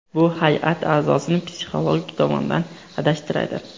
Bu hay’at a’zosini psixologik tomondan adashtiradi.